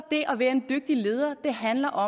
og